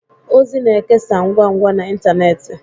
ozi na-ekesa ngwa ngwa na ịntanetị